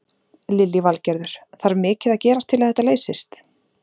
Lillý Valgerður: Þarf mikið að gerast til að þetta leysist?